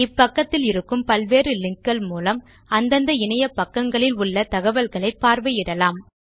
இப்பக்கத்திலிருக்கும் பல்வேறு லிங்க் கள் மூலம் அந்தந்த இணையபக்கங்களில் உள்ள தகவல்களை பார்வையிடலாம்